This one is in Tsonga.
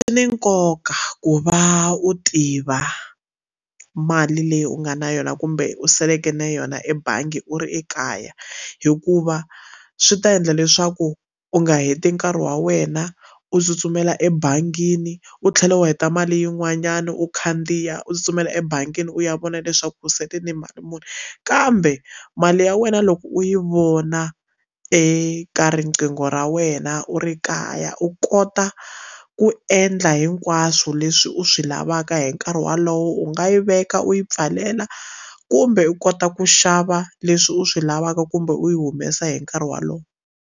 Swi ni nkoka ku va u tiva mali leyi u nga na yona kumbe u saleke na yona ebangi u ri ekaya hikuva swi ta endla leswaku u nga heti nkarhi wa wena u tsutsumela ebangini u tlhela u heta mali yin'wanyana u khandziya u tsutsumela ebangini u ya vona leswaku u sele ni mali muni kambe mali ya wena loko u yi vona eka riqingho ra wena u ri kaya u kota ku endla hinkwaswo leswi u swi lavaka hi nkarhi wolowo u nga yi veka u yi pfalela kumbe u kota ku xava leswi u swi lavaka kumbe u yi humesa hi nkarhi wolowo.